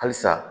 Halisa